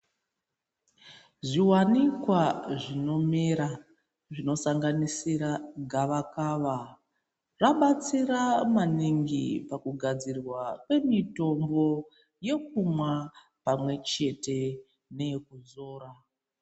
Zviwanikwa zvinomera zvinosanganisira gavakava zvabatsira maningi pakugadzirwa kwemitombo yekumwa pamwechete neyekudzora.